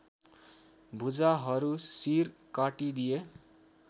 भुजाहरू सिर काटिदिए